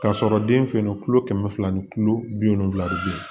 K'a sɔrɔ den fɛ yen nɔ kɛmɛ fila ni kilo bi wolonwula de be yen